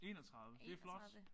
31. Det flot